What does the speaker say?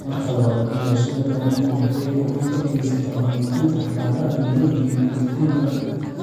Marka labaad, beerashada kalluunku waxay gacan ka geysataa horumarinta dhaqaalaha tuulooyinka iyo guud ahaan dalka.